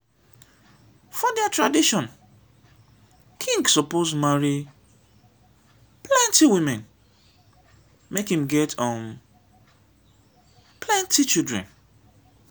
for their tradition king suppose marry plenty women make im get um plenty children.